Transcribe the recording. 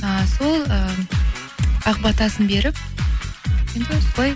і сол і ақ батасын беріп енді солай